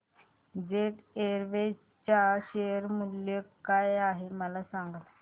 jet Airways च्या share चे मूल्य काय आहे मला सांगा